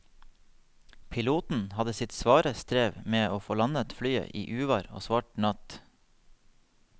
Piloten hadde sitt svare strev med å få landet flyet i uvær og svart natt.